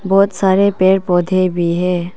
बहोत सारे पेड़ पौधे भी है।